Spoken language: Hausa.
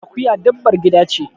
Akuya dabbar gida ce.